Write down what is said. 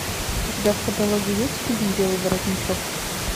у тебя в каталоге есть фильм белый воротничок